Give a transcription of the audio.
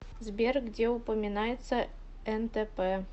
сбер где упоминается нтп